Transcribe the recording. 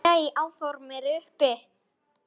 Nei, áform eru uppi